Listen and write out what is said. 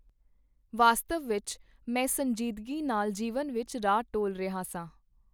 ਵਾਸਤਵ ਵਿਚ, ਮੈਂ ਸੰਜ਼ੀਦਗੀ ਨਾਲ ਜੀਵਨ ਵਿਚ ਰਾਹ ਟੋਲ ਰਿਹਾ ਸਾਂ.